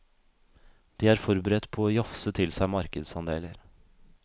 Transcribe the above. De er forberedt på å jafse til seg markedsandeler.